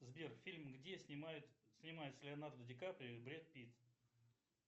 сбер фильм где снимается леонардо ди каприо и брэд питт